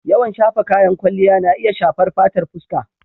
Yawan shafa kayan kwalliya na iya shafar fatar fuska.